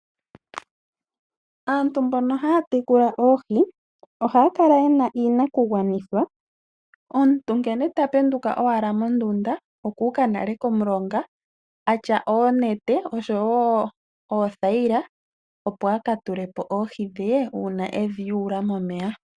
Aantu mboka haya tekula oohi ohaya kala ye na iinakugwanithwa, omuntu nkene ta penduka owala mondunda oku ka nale komulonga a tya oonete oshowo oothayila, opo akatule po oohi dhe uuna e dhi yula momeya.